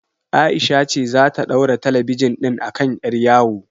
Aisha ce zata ɗaura talabijin ɗin a kan ƴar yawo